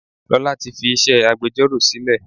Lola tí fi iṣẹ́ agbẹjoro sílè.